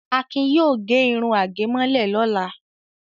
Akin yóò gẹ irun àgẹ̀mọ́lẹ̀ lọ́la.